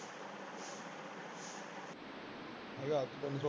ਹਜ਼ਾਰ ਤੇ ਤਿਨ ਸੋ ਪੈਣਾ ਇਹ।